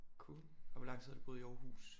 Cool og hvor lang tid har du boet i Aarhus